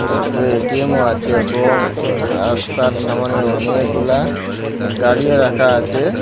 ছোটো এটিএমও আছে এবং আঃ রাস্তার সামোনে অনেকগুলা গাড়িও রাখা আছে।